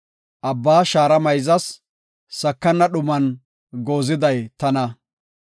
Abbaa shaara mayzas; sakana dhuman gooziday tana.